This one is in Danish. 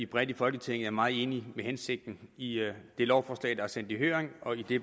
bredt i folketinget er meget enige i hensigten i det lovforslag der er sendt i høring og i det